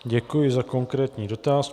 Děkuji za konkrétní dotaz.